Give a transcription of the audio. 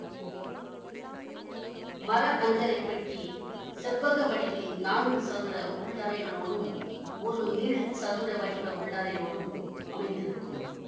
மர அஞ்சறை பெட்டி செவ்வக வடிவில் நான்கு சதுர உள்ளறைகளோடும் ஒரு நீள் சதுர வடிவ உள்ளறையோடும் அமைந்திருக்கும்